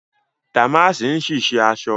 Dàmáàsì ń ṣì ṣe aṣọ